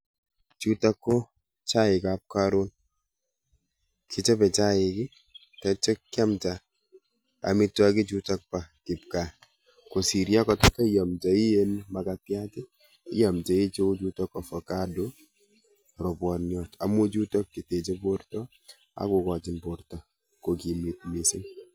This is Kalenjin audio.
Chutok ko chaikap karon. Chechope chaik, tatyo kyamda amitwokichuto po kipkaa kosis yokataiamdoi um makatiat, iomdoi cheu chutok ovacado, ropwoniot amu chutok cheteche porto akokochin porto kokimit mising.